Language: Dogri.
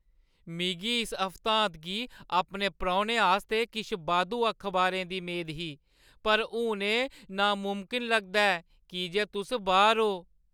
मिगी इस हफ्तांत गी अपने परौह्‌नें आस्तै किश बाद्धू अखबारें दी मेद ही, पर हून एह् नामुमकन लगदा ऐ की जे तुस बाह्‌र ओ।